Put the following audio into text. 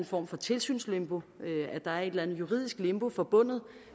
form for tilsynslimbo at der er et eller andet juridisk limbo forbundet